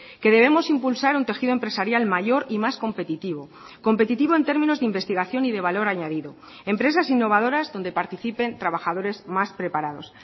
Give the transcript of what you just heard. que debemos impulsar un tejido empresarial mayor y más competitivo competitivo en términos de investigación y de valor añadido empresas innovadoras donde participen trabajadores más preparados